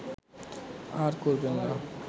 আর করবে না